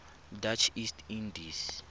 dutch east indies